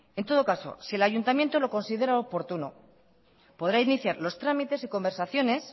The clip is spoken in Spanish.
en todo caso si el ayuntamiento lo considera oportuno podrá iniciar los trámites y conversaciones